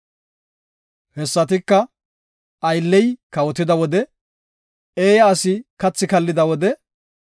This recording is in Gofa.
Hessatika, aylley kawotida wode, eeya asi kathi kallida wode,